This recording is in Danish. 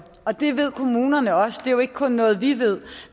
og det ved kommunerne også det er jo ikke kun noget vi ved